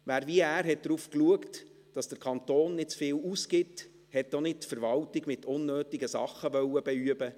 Wer, wie er, darauf schaute, dass der Kanton nicht zu viel ausgibt, wollte auch nicht die Verwaltung mit unnötigen Dingen «beüben».